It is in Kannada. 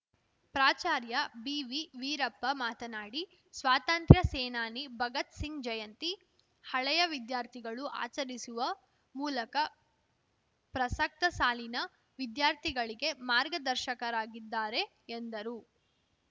ಪ್ರಾಚಾರ್ಯ ಬಿವಿವೀರಪ್ಪ ಮಾತನಾಡಿ ಸ್ವಾತಂತ್ರ ಸೇನಾನಿ ಭಗತ್‌ ಸಿಂಗ್‌ ಜಯಂತಿ ಹಳೆಯ ವಿದ್ಯಾರ್ಥಿಗಳು ಆಚರಿಸುವ ಮೂಲಕ ಪ್ರಸಕ್ತ ಸಾಲಿನ ವಿದ್ಯಾರ್ಥಿಗಳಿಗೆ ಮಾರ್ಗದರ್ಶಕರಾಗಿದ್ದಾರೆ ಎಂದರು